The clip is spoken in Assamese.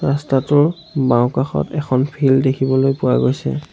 ৰাস্তাটোৰ বাওঁকাষত এখন ফিল্ড দেখিবলৈ পোৱা হৈছে।